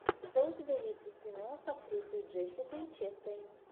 что у тебя есть из кино с актрисой джессикой честейн